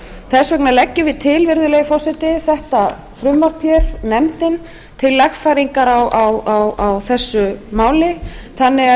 þess vegna leggjum við til virðulegi forseti þetta frumvarp hér nefndin til lagfæringar á þessu máli þannig að